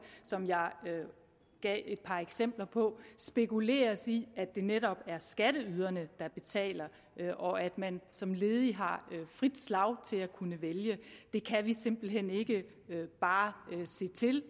som jeg gav et par eksempler på spekuleres i at det netop er skatteyderne der betaler og at man som ledig har frit slag til at kunne vælge der kan vi simpelt hen ikke bare se til